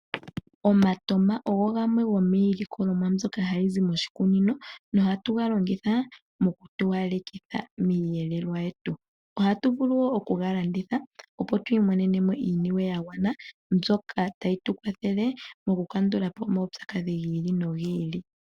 Omatama ogo gamwe gomiilikolomwa mbyoka hayi zi moshikunini nohatu ga longitha mokutowalekitha miiyelelwa yetu. Ohatu vulu wo okuga landitha, opo tu imonene mo iiniwe ya gwana mbyoka tayi tu kwathele mokukandula po omaupyakadhi gi ili nogi ili.